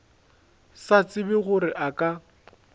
sa tsebe gore a ka